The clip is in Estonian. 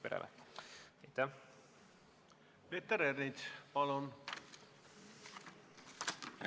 Peeter Ernits, palun!